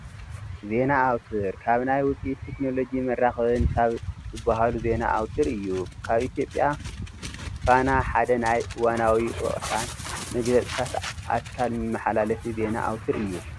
ዜና ኣውትር፡- ካብ ናይ ውፅኢት ቴክኖሎጂ ን መራኸብን ካብ ዝባሃሉ ዜና ኣውትር እዩ፡፡ ኣብ ኢ/ያ ፋና ሓደ ናይ እዋናውን ወቕታን መግለፂታት ኣካል መመሓላለፊ ዜና ኣውትር እዩ፡፡